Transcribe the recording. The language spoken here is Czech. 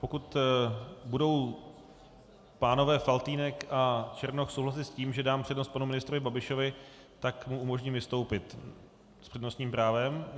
Pokud budou pánové Faltýnek a Černoch souhlasit s tím, že dám přednost panu ministrovi Babišovi, tak mu umožním vystoupit s přednostním právem.